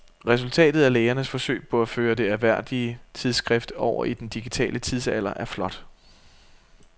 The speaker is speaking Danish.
Resultatet af lægernes forsøg på at føre det ærværdige tidsskrift over i den digitale tidsalder er flot.